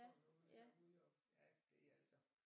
Sådan noget derude og ja det er altså